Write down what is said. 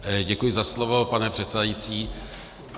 Děkuji za slovo, pane předsedající.